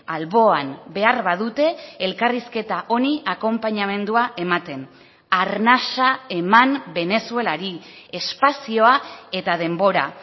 alboan behar badute elkarrizketa honi akonpainamendua ematen arnasa eman venezuelari espazioa eta denbora